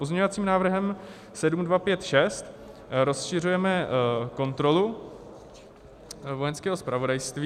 Pozměňovacím návrhem 7256 rozšiřujeme kontrolu Vojenského zpravodajství.